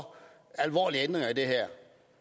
alvorlige ændringer af det her